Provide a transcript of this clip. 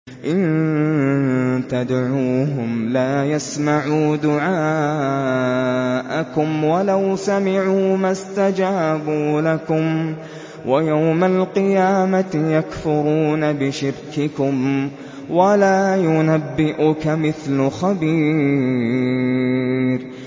إِن تَدْعُوهُمْ لَا يَسْمَعُوا دُعَاءَكُمْ وَلَوْ سَمِعُوا مَا اسْتَجَابُوا لَكُمْ ۖ وَيَوْمَ الْقِيَامَةِ يَكْفُرُونَ بِشِرْكِكُمْ ۚ وَلَا يُنَبِّئُكَ مِثْلُ خَبِيرٍ